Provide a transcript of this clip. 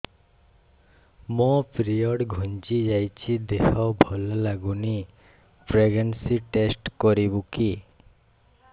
ମୋ ପିରିଅଡ଼ ଘୁଞ୍ଚି ଯାଇଛି ଦେହ ଭଲ ଲାଗୁନି ପ୍ରେଗ୍ନନ୍ସି ଟେଷ୍ଟ କରିବୁ କି